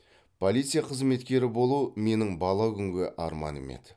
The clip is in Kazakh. полиция қызметкері болу менің бала күнгі арманым еді